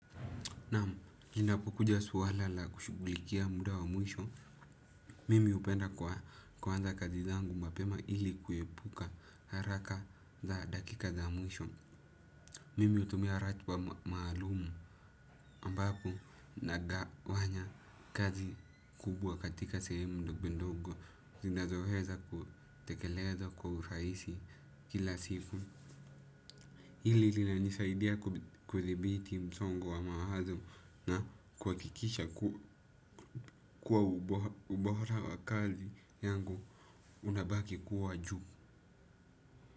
Naam, linapokuja suala la kushughulikia muda wa mwisho, mimi hupenda kwa kuanza kazi zangu mapema ili kuepuka haraka za dakika za mwisho. Mimi hutumia ratba maalum ambapo nagawanya kazi kubwa katika sehemu ndogondogo, zinazoheza kutekeleza kwa uraisi kila siku. Hili linanisaidia kuthibiti msongo wa maahazo na kuhakikisha kuwa ubohora wa kazi yangu unabaki kuwa juu.